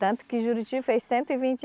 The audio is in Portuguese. Tanto que Juruti fez cento e vinte